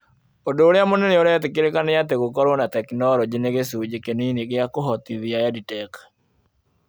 Ũndũ ũrĩa mũnene ũretĩkĩrĩka nĩ atĩ gũkorũo na tekinoronjĩ nĩ gĩcunjĩ kĩnini gĩa kũhotithia EdTech.